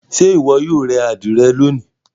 Ṣe iwọ yoo re adire loni?